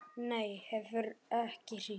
Nei, hann hefur ekki hringt.